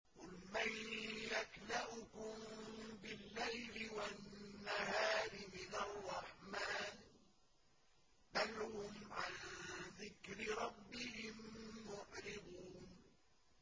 قُلْ مَن يَكْلَؤُكُم بِاللَّيْلِ وَالنَّهَارِ مِنَ الرَّحْمَٰنِ ۗ بَلْ هُمْ عَن ذِكْرِ رَبِّهِم مُّعْرِضُونَ